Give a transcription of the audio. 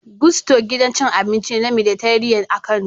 Gusto, gidan cin abinci ne na Mediterranean a Kano